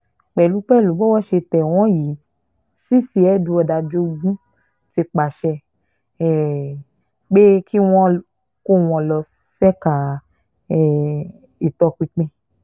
pẹ̀lú pẹ̀lú bówó ṣe tẹ̀ wọ́n yìí cc edward ajogun ti pàṣẹ um pé kí wọ́n kó wọn lọ ṣèkà um ìtọpinpin